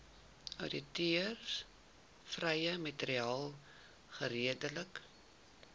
outeursregvrye materiaal geredelik